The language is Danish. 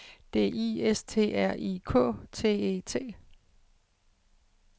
D I S T R I K T E T